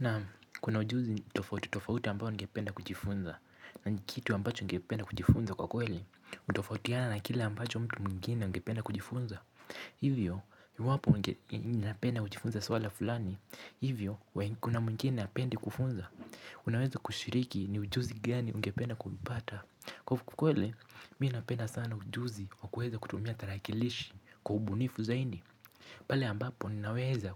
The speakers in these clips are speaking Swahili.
Naam kuna ujuzi tofauti tofauti ambayo ningependa kujifunza na kitu ambacho ningependa kujifunza kwa kweli hutofautiana na kile ambacho mtu mwingine angependa kujifunza Hivyo, iwapo napenda kujifunza swala fulani Hivyo, kuna mwingine hapendi kufunza Unaweza kushiriki ni ujuzi gani ungependa kuipata Kwa kweli, mi napenda sana ujuzi wa kueza kutumia tarakilishi kwa ubunifu zaindi pale ambapo ninaweza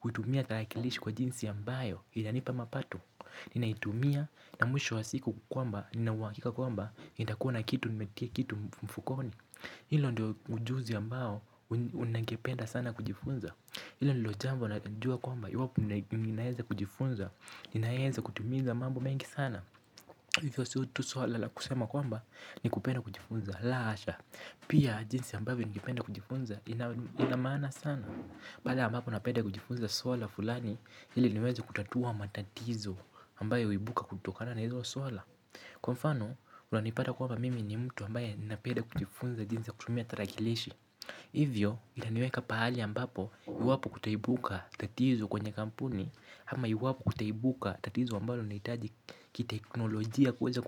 kutumia tarakilishi kwa jinsi ambayo inanipa mapato Ninaitumia na mwisho wa siku kwamba, ninauhakika kwamba, nitakua kitu nimetia mfukoni Hilo ndio ujuzi ambao unangependa sana kujifunza Hilo ndilo jambo najua kwamba, iwapo ninaeza kujifunza, ninaeza kutumiza mambo mengi sana Hivyo sio tu swala la kusema kwamba ni kupenda kujifunza la asha, pia jinsi ambavyo ningependa kujifunza ina maana sana Baada ambapo napenda kujifunza swala fulani ili niweze kutatua matatizo ambayo huibuka kutokana na hizo swala Kwa mfano, unanipata kwamba mimi ni mtu ambaye napenda kujifunza jinsi ya kutumia tarakilishi Hivyo, inaniweka paali ambapo iwapo kutaibuka tatizo kwenye kampuni hama iwapo kutaibuka tatizo ambayo inahitaji kiteknolojia kuweza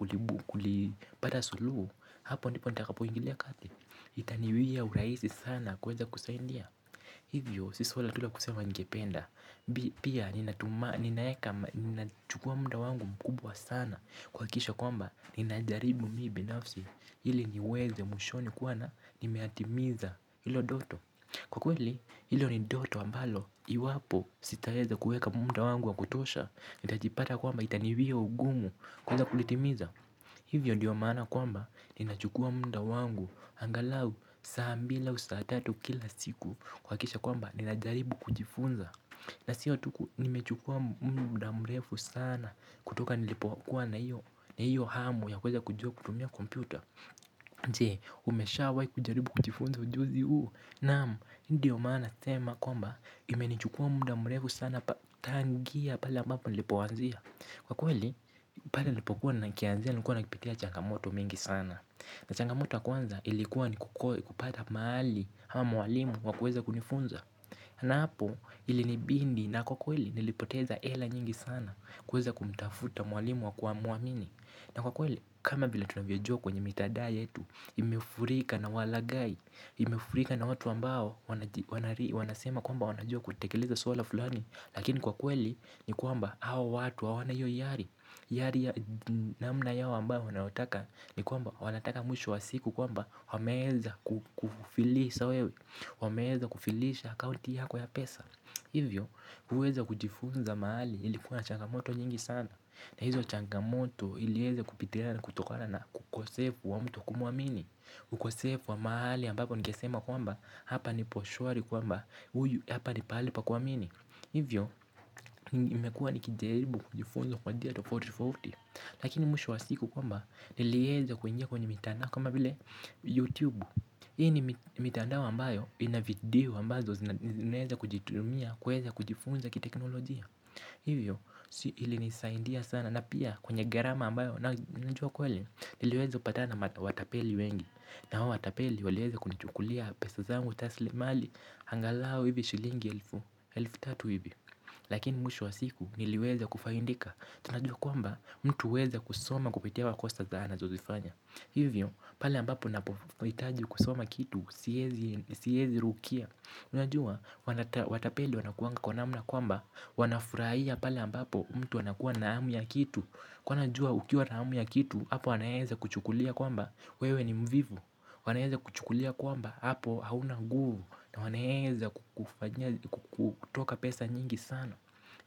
kulipata suluhu Hapo ndipo nitakapo ingilia kati Itaniwia uraisi sana kuweza kusaindia Hivyo si swala tu lakusema ningependa Pia ninachukua muda wangu mkubwa sana Kuakisha kwamba ninajaribu mi binafsi Hili niweze mwishoni kuona nimeyatimiza ilo doto Kwa kweli ilo ni ndoto ambalo Iwapo sitaeza kuweka munda wangu wa kutosha nitajipata kwamba itaniwia ugumu kuweza kulitimiza Hivyo diyo mana kwamba ninachukua munda wangu angalau saa mbila au saa tatu kila siku kuakisha kwamba ninajaribu kujifunza na siyo tu nimechukua muda mrefu sana kutoka nilipokuwa na iyo hamu ya kuweza kujua kutumia kompyuta Jee umeshawai kujaribu kujifunza ujuzi huu Naam, hii ndio mana nasema kwamba imenichukua muda mrefu sana tangia pala ambapo nilipoanzia Kwa kweli, pale nilipokuwa nakianzia nilikuwa nakipitia changamoto mingi sana na changamoto ya kwanza ilikuwa ni kupata mahali hawa mwalimu wameweza kunifunza na hapo ilinibindi na kwa kweli nilipoteza ela nyingi sana kueza kumtafuta mwalimu wakumuamini na kwa kweli, kama vila tunavyojua kwenye mitadaya yetu imefurika na walagai Imefurika na watu ambao, wanasema kwamba wanajua kutekeleza swala fulani Lakini kwa kweli ni kwamba hawa watu hawana hio iyari. Iyari ya namna yao ambao wanaotaka ni kwamba wanataka mwisho wa siku kwamba wameeza kufilisha akaunti yako ya pesa Hivyo kuweza kujifunza mahali ilikuwa na changamoto nyingi sana na hizo changamoto ilieze kupitia na kutokana na ukosefu wa mtu kumwamini ukosefu wa majali ambapo ningesema kwamba hapa nipo shwari kwamba huyu hapa ni pahali pa kuamini Hivyo nimekua nikijaribu kujifunza kwa njia tofauti tofauti Lakini mwisho wa siku kwamba nilieza kuingia kwenye mitandao kama vile YouTube Hii ni mitandao ambayo vina video ambazo zinaeza kujitumia kuweza kujifunza kiteknolojia Hivyo ilinisaindia sana na pia kwenye gharama ambayo njua kweli niliweza kupatana na watapeli wengi na hao watapeli walieza kunichukulia pesa zangu taslim mali angalao hivi shilingi elfu tatu ivi Lakini mwisho wa siku niliweza kufaindika Tunajua kwamba mtu uweza kusoma kupitia makosa dhana zozifanya Hivyo pale ambapo napohitaji kusoma kitu siezi rukia Tunajua watapeli wanakuanga kwa namna kwamba Wanafuraia pale ambapo mtu anakuwa na hamu ya kitu Kwa hio anajua ukiwa na hamu ya kitu Hapo wanaeza kuchukulia kwamba wewe ni mvivu wanaeza kuchukulia kwamba Hapo hauna guvu na wanaeeza kutoka pesa nyingi sana.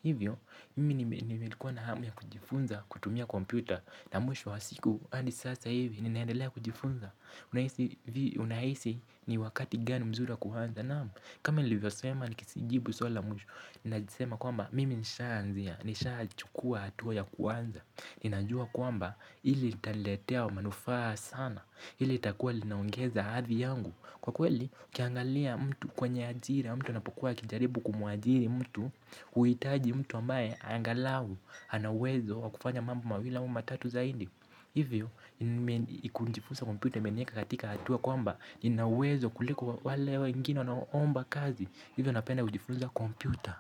Hivyo, mimi nimekuwa na hamu ya kujifunza, kutumia kompyuta. Na mwisho wa siku, adi sasa hivi, ninaendelea kujifunza. Unaisi ni wakati gani mzuri wa kuanza. Naam, kama nilivyosema nikisijibu swali la mwisho. Ninajisema kwamba, mimi nishaanzia. Nishaachukua hatuwa ya kuanza. Ninajua kwamba, hili itaniletea manufaa sana. Hili itakuwa linaongeza hadhi yangu. Kwa kweli, ukiangalia mtu kwenye ajira, mtu anapokuwa akijaribu kumuajiri mtu, huitaji mtu ambae, angalau, ana uwezo, wa kufanya mambo mawili au matatu zaidi. Hivyo, kunjifunza kompyuta, imenieka katika hatua kwamba, nina uwezo kuliko wale wengine wanaoomba kazi. Hivyo, napenda kujifunza kompyuta.